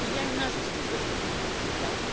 Il y a une injustice de traitement dans les deux cas.